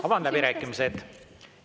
Avan läbirääkimised.